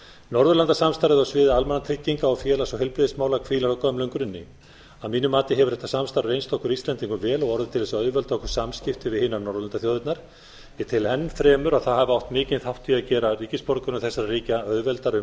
norðurlandasamstarfið á sviði almannatrygginga og félags og heilbrigðismála hvílir á gömlum grunni að mínu mati hefur þetta samstarf reynst okkur íslendingum vel og orðið til þess að auðvelda okkur samskipti við hinar norðurlandaþjóðirnar ég tel enn fremur að það hafi átt mikinn þátt í að gera ríkisborgurum þessara ríkja auðveldara um